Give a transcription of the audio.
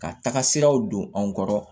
Ka taga siraw don an kɔrɔ